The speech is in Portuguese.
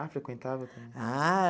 Ah, frequentava também. Ah